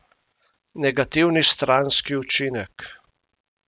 Negativni stranski učinek?